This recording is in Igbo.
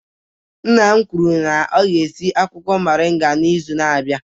Nna m kwuru na ya ga-esi akwụkwọ moringa n'izu na-abịa.